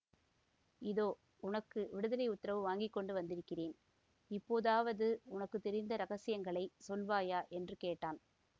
இதோ உனக்கு விடுதலை உத்தரவு வாங்கி கொண்டு வந்திருக்கிறேன் இப்போதாவது உனக்கு தெரிந்த இரகசியங்களை சொல்லுவாயா என்று கேட்டான்